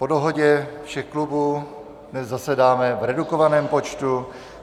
Po dohodě všech klubů dnes zasedáme v redukovaném počtu.